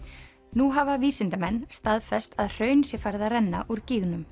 nú hafa vísindamenn staðfest að hraun sé farið að renna úr